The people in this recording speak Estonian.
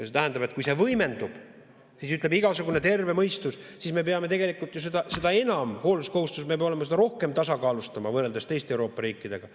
See tähendab, et kui see võimendub, siis ütleb igasugune terve mõistus, et me peame seda enam hoolsuskohustusega seda rohkem tasakaalustama võrreldes teiste Euroopa riikidega.